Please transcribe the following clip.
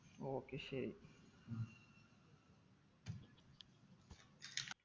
okay ശരി